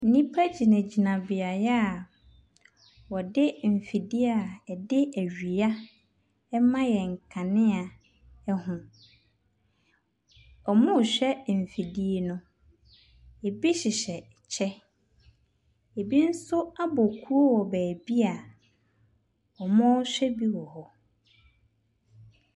Nnipa gyinagyina beaeɛ a wɔde mfidie a ɛde awia ma yɛn nkanea ho. Wɔrehwɛ mfidie no. ɛbi hyehyɛ ɛkyɛ, ɛbi nso abɔ kuo wɔ baabi a wɔrehwɛ bi wɔ hɔ.